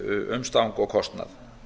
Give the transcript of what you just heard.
umstang og kostnað